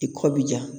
I kɔ bi ja